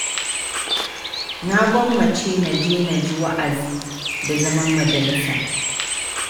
Na gwammace na je na ji wa'azi, da zaman majalisa.